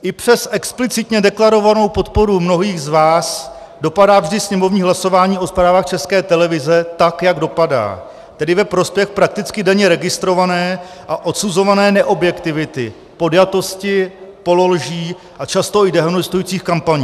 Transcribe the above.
I přes explicitně deklarovanou podporu mnohých z vás dopadá vždy sněmovní hlasování o zprávách České televize tak, jak dopadá, tedy ve prospěch prakticky denně registrované a odsuzované neobjektivity, podjatosti, pololží a často i dehonestujících kampaní.